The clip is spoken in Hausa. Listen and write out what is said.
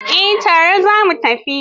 Eh, tare za mu tafi.